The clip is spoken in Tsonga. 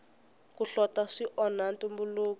ku hlota swi onha ntumbuluko